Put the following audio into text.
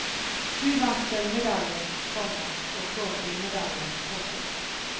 Du vant sølvmedalje, komma og får gullmedalje. punktum